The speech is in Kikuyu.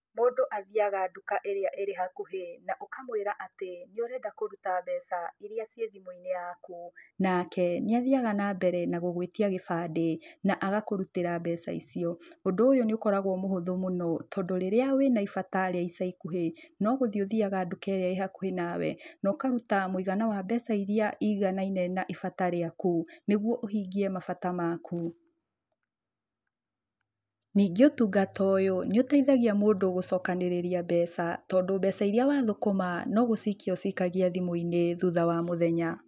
Mũndũ athiaga nduka ĩrĩa ĩrĩ hakuhĩ na ukamwĩra atĩ nĩ ũrenda kũruta mbeca, iria ciĩ thimu-inĩ yaku. Nake nĩ athiaga na mbere na gũgũĩtia gĩbandĩ na agakũrutĩra mbeca icio. Ũndũ ũyũ nĩ ũkoragwo mũhũthũ mũno tondũ, rĩrĩa wĩna ibata rĩa ica ikuhĩ, no gũthiĩ ũthiaga nduka ĩrĩa ĩ hakuhĩ nawe. Na ũkaruta mũigana wa mbeca iria iganaine na ibata rĩaku. Niguo ũhingie mabata maku. Ningĩ ũtungata ũyũ nĩ ũteithagia mũndũ gũcokanĩrĩria mbeca tondũ mbeca iria wathũkũma, no gũcikia ũcikagia thimũ-inĩ thutha wa mũthenya.